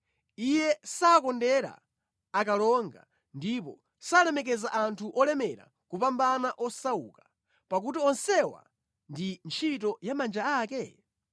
Iye sakondera akalonga ndipo salemekeza anthu olemera kupambana osauka, pakuti onsewa ndi ntchito ya manja ake?